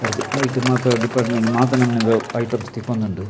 ಐಟ್ ಮಾತ ಡಿಪಾರ್ಟ್ಮೆಂಟ್ ಮಾತ ನಮುನಿದ ಐಟಮ್ಸ್ ತಿಕ್ಕೊಂದುಂಡು.